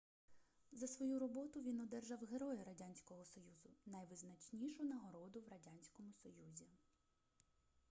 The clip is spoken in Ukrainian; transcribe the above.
за свою роботу він одержав героя радянського союзу - найвизначнішу нагороду в радянському союзі